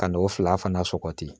Ka n'o fila fana sɔgɔti